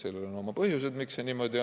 Sellel on omad põhjused, miks see nii on.